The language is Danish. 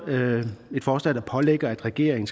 et forslag der pålægger regeringen